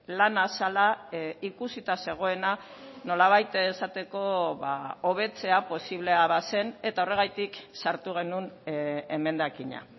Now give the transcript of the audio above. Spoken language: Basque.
lana zela ikusita zegoena nolabait esateko hobetzea posiblea bazen eta horregatik sartu genuen emendakina